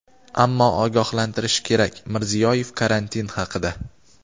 ammo ogohlantirish kerak – Mirziyoyev karantin haqida.